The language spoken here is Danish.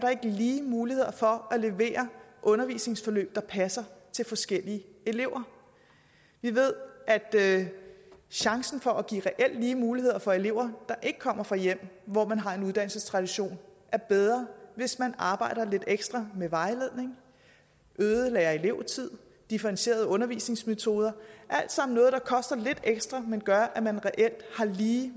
lige muligheder for at levere undervisningsforløb der passer til forskellige elever vi ved at chancen for at give reelt lige muligheder for elever der ikke kommer fra hjem hvor man har en uddannelsestradition er bedre hvis man arbejder lidt ekstra med vejledning øget lærer elev tid differentieret undervisnings metoder alt sammen noget der koster lidt ekstra men gør at man reelt har lige